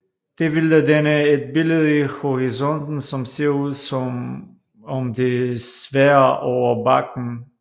Det vil da danne et billede i horisonten som ser ud som om det svæver over bakken